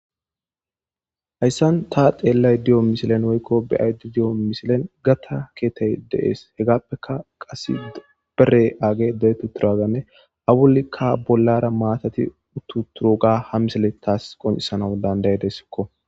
Hayssan ta xeellay di'o misilen woykko beyaydi di'o misilen gatta keetey deees hegappeka qase bere aage de'etu turaganne awulikka bollara maatati uttu turuga ha misele taas qoncisanau dandaye deskko.